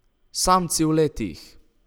Samci v letih!